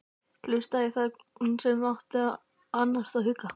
Hlustaði í þögn, hún sem átti að annast og hugga.